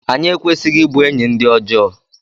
anyị ekwesịghị ịbụ enyi ndị ọjọọ